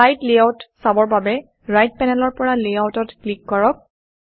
slide layout চাবৰ বাবে right পেনেলৰ পৰা Layoutsত ক্লিক কৰক